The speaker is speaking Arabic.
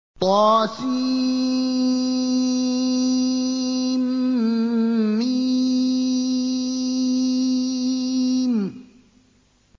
طسم